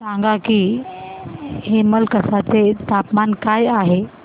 सांगा की हेमलकसा चे तापमान काय आहे